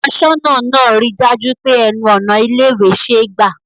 Aṣọ́nà náà ń ri dájú pé ẹnu ọ̀nà ilé ìwé ṣe gbà